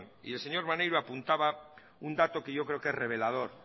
y el señor maneiro apuntaba un dato que yo creo que es revelador